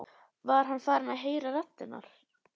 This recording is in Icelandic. Var hann farinn að heyra raddir?